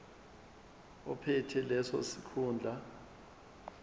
ophethe leso sikhundla